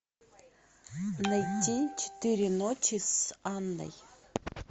найти четыре ночи с анной